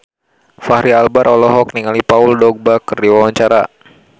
Fachri Albar olohok ningali Paul Dogba keur diwawancara